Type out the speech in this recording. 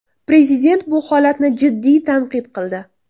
Prezident bu holatni jiddiy tanqid qildi.